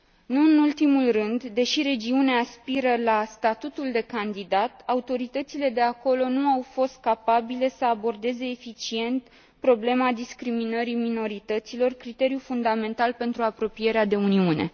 Nu în ultimul rând, deși regiunea aspiră la statutul de candidat, autoritățile de acolo nu au fost capabile să abordeze eficient problema discriminării minorităților, criteriu fundamental pentru apropierea de Uniune.